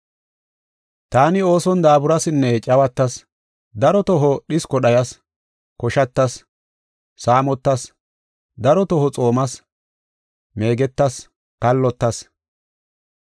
Taani ooson daaburasinne cawatas, daro toho dhisko dhayas, koshatas, saamotas, daro toho xoomas, meegetas, kallotas.